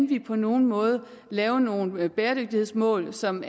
vi på nogen måde kan lave nogle bæredygtighedsmål som